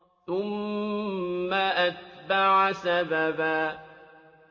ثُمَّ أَتْبَعَ سَبَبًا